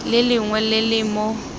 le lengwe le le mo